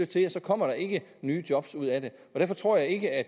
det og så kommer der ikke nye job ud af det derfor tror jeg ikke at